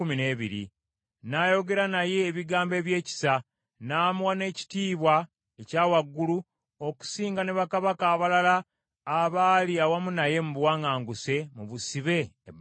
N’ayogera naye ebigambo ebyekisa, n’amuwa n’ekitiibwa ekya waggulu okusinga ne bakabaka abalala abaali awamu naye mu buwaŋŋanguse mu busibe e Babulooni.